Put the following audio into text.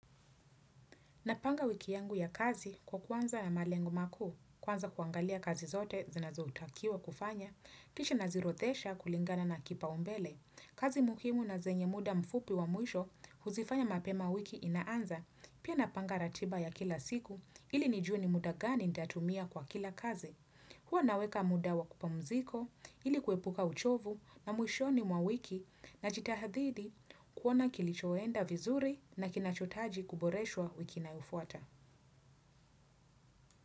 Napanga wiki yangu ya kazi kwa kuanza ya malengo makuu, kwanza kuangalia kazi zote zinazotakiwa kufanya, kisha naziorodhesha kulingana na kipa umbele. Kazi muhimu na zenye muda mfupi wa mwisho huzifanya mapema wiki inaanza, pia napanga ratiba ya kila siku ili nijue ni muda gani ntatumia kwa kila kazi. Huwa naweka muda wa kupamuzika ili kuepuka uchovu na mwishoni mwa wiki najitahidi kuona kilichoenda vizuri na kinachohitaji kuboreshwa wiki inayofuata.